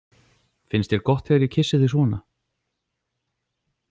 Finnst þér gott þegar ég kyssi þig svona?